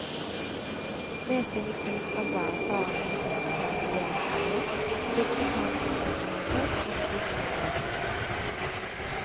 Med sine kunnskaper, erfaring og sikre vurderingsevne sikret han kontinuitet i beslutninger over tid.